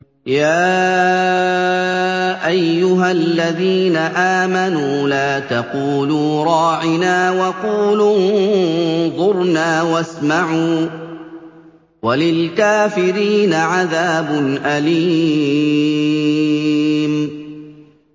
يَا أَيُّهَا الَّذِينَ آمَنُوا لَا تَقُولُوا رَاعِنَا وَقُولُوا انظُرْنَا وَاسْمَعُوا ۗ وَلِلْكَافِرِينَ عَذَابٌ أَلِيمٌ